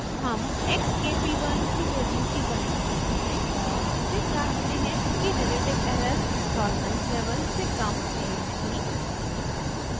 हम x k p one की value की गणना करते हैं और फिर जाँचते कि relative error tolerance level से कम है या नहीं